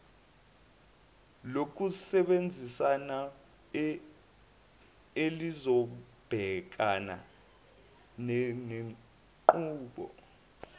lokusebenzisana elizobhekana nenqubo